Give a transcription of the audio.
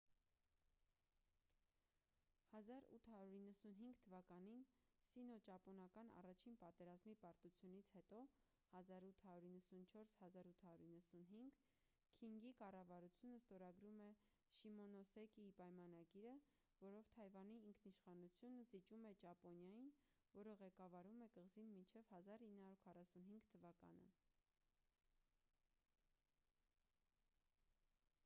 1895 թվականին սինոճապոնական առաջին պատերազմի պարտությունից հետո 1894-1895 քինգի կառավարությունը ստորագրում է շիմոնոսեկիի պայմանագիրը որով թայվանի ինքնիշխանությունը զիջում է ճապոնիային որը ղեկավարում է կղզին մինչև 1945 թվականը: